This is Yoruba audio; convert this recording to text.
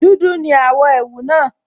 Dúdú ní àwọ̀ ẹ̀wù náà